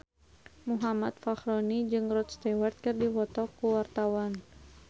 Muhammad Fachroni jeung Rod Stewart keur dipoto ku wartawan